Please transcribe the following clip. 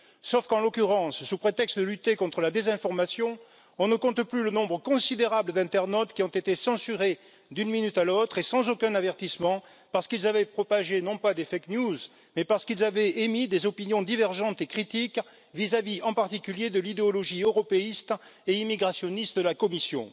Sauf qu'en l'occurrence, sous prétexte de lutter contre la désinformation, on ne compte plus le nombre considérable d'internautes qui ont été censurés d'une minute à l'autre et sans aucun avertissement parce qu'ils avaient propagés, non pas des fake news mais parce qu'ils avaient émis des opinions divergentes et critiques vis à vis, en particulier, de l'idéologie européiste et immigrationniste de la Commission.